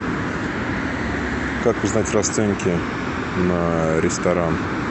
как узнать расценки на ресторан